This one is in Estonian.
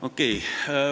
Okei.